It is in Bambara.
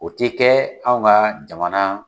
O ti kɛ anw ka jamana